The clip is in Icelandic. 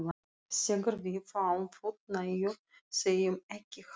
þegar við fáum fullnægingu, segjum ekki hana!